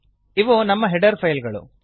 ಇವು ನಮ್ಮ header file ಗಳು